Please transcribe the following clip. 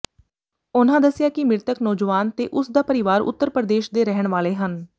ਉਨ੍ਹਾਂ ਦਸਿਆ ਕਿ ਮ੍ਰਿਤਕ ਨੌਜਵਾਨ ਤੇ ਉਸ ਦਾ ਪਰਿਵਾਰ ਉੱਤਰ ਪ੍ਰਦੇਸ਼ ਦੇ ਰਹਿਣ ਵਾਲੇ ਹਨ